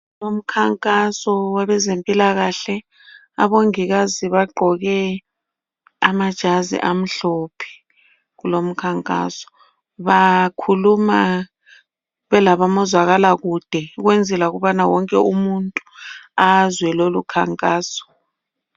Umkhankaso wabezempilakahle, abongikazi bagqoke amajazi amhlophe kulomkhankaso .Bakhuluma bela bomazwakala kude ,ukwenzela ukubana wonke umuntu azwe kulomkhankaso.